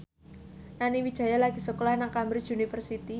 Nani Wijaya lagi sekolah nang Cambridge University